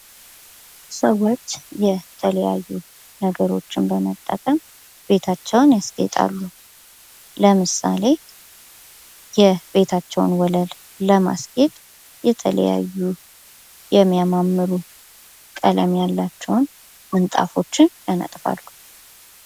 የማስጌጥ ዓይነቶች እንደየቦታውና እንደ አላማው የሚለያዩ ሲሆን የቤት ውስጥ፣ የውጭና የዝግጅት ማስጌጥ ይጠቀሳሉ።